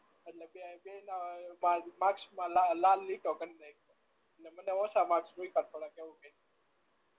એટલે બેય ના માર્કસ માં લાલ લાલ લીટો કરી નાખ્યો અને મને ઓછા માર્ક્સ મુક્યા થોડાક એવું કર્યું